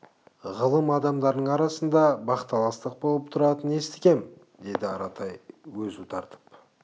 ғылым адамдарының арасында бақталастық болып тұратынын естігем деді аратай өзу тартып